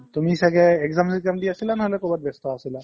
তুমি ছাগে exam চেগজাম দি আছিলা নহ'লে ক'ৰবাত ব্যস্ত আছিলা